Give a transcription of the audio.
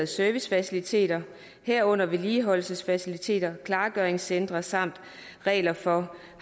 servicefaciliteter herunder vedligeholdelsesfaciliteter klargøringscentre samt regler for